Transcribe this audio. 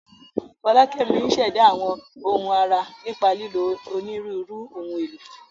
Folakemi ń ṣẹ̀dá àwọn ohun ara nípa lílo onírúurú ohun èlò.